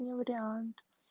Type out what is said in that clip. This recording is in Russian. не вариант